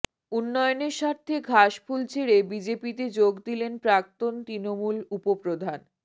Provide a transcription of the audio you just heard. উন্নয়নের স্বার্থে ঘাসফুল ছেড়ে বিজেপিতে যোগ দিলেন প্রাক্তন তৃণমূল উপপ্রধান